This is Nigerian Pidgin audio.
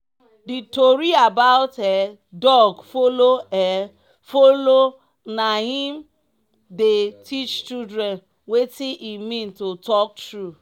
the tori about um dog follow um follow na im dey teach children wetin e mean to talk true.